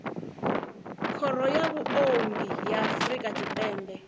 khoro ya vhuongi ya afrika tshipembe